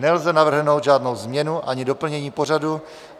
Nelze navrhnout žádnou změnu ani doplnění pořadu.